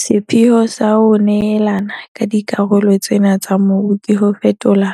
Sepheopheo sa ho neelana ka dikarolo tsena tsa mobu ke ho fetola